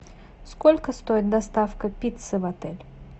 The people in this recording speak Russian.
сколько стоит доставка пиццы в отель